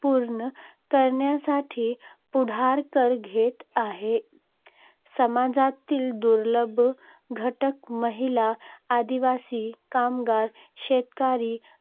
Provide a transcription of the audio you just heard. पूर्ण करण्यासाठी पुढाकार घेत आहे. समाजातील दुर्बल घटक, महिला, आदिवासी, कामगार, शेतकरी,